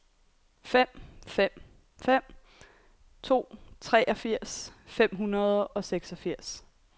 fem fem fem to treogfirs fem hundrede og seksogfirs